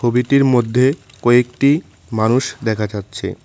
ছবিটির মধ্যে কয়েকটি মানুষ দেখা যাচ্ছে।